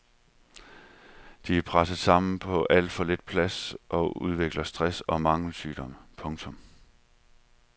De er presset sammen på alt for lidt plads og udvikler stress og mangelsygdomme. punktum